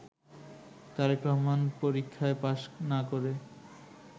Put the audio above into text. তারেক রহমান পরীক্ষায় পাশ না করে